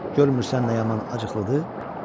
Görmürsən nə yaman acıqlıdır?